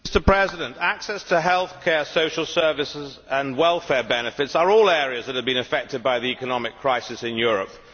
Mr President, access to health care, social services and welfare benefits are all areas which have been affected by the economic crisis in Europe.